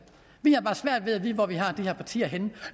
har bare svært ved at vide hvor vi har de partier henne